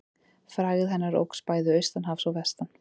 Frægð hennar óx bæði austan hafs og vestan.